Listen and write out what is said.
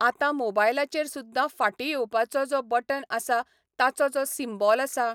आतां मोबायलाचेर सुद्दां फाटीं येवपाचो जो बटन आसा ताचो जो सिम्बॉल आसा.